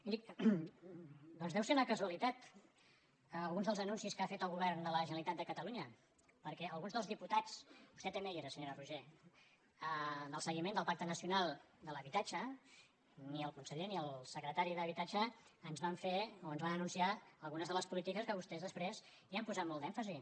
miri doncs deuen ser una casualitat alguns dels anun·cis que ha fet el govern de la generalitat de catalu·nya perquè a alguns dels diputats vostè també hi era senyora roigé del seguiment del pacte nacional per a l’habitatge ni el conseller ni el secretari d’habitatge ens van anunciar algunes de les polítiques que vostès després hi han posat molt d’èmfasi